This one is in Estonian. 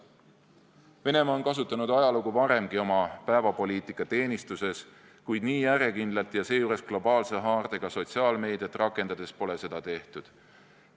Venemaa on kasutanud ajalugu varemgi oma päevapoliitika teenistuses, kuid nii järjekindlalt ja seejuures globaalse haardega sotsiaalmeediat rakendades pole seda tehtud.